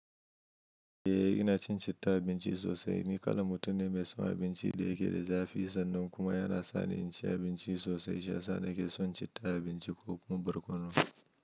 Eh, inacin citta a abinci sosai. Ni kalan mutum ne mai son abinci da yake da zafi sannan kuma yana sani inci abinci sosai. Shiyasa nake son citta abinci ko kuma barkono.